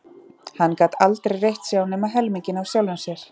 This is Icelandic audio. Hann gat aldrei reitt sig á nema helminginn af sjálfum sér.